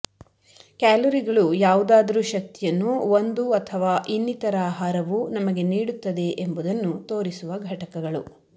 ಕ್ಯಾಲೊರಿಗಳು ಯಾವುದಾದರೂ ಶಕ್ತಿಯನ್ನು ಒಂದು ಅಥವಾ ಇನ್ನಿತರ ಆಹಾರವು ನಮಗೆ ನೀಡುತ್ತದೆ ಎಂಬುದನ್ನು ತೋರಿಸುವ ಘಟಕಗಳು